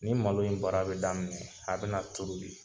Ni malo in baara be daminɛ, a bɛna toobi.